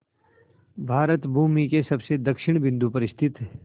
भारत भूमि के सबसे दक्षिण बिंदु पर स्थित